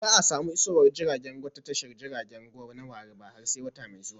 Ba za a samu isowar jiragen ruwa a tashar jiragen ruwa na warri ba har sai wata mai zuwa